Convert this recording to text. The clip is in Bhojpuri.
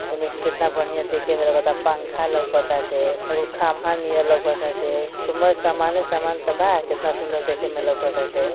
एमे केतना बढ़ियां देखे में लगता। पंखा लउकताटे हई कुल खंभा नियर लउकताटे। कु मए समाने समान त बा। केतना सुंदर देखे में लउकताटे।